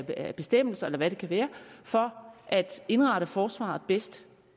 af bestemmelser eller hvad det kan være for at indrette forsvaret bedst